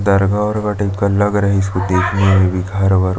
दरगाह वर्गा टाइप का लग रहा है इसको देखने में भी घर वर --